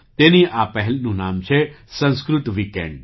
તેની આ પહેલનું નામ છે - સંસ્કૃત વીકએન્ડ